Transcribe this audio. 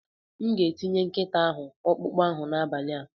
M ga-enye nkịta ahụ ọkpụkpụ ahụ n'abalị a.